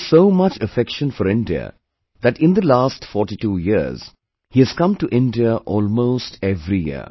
He has so much affection for India, that in the last 42 forty two years he has come to India almost every year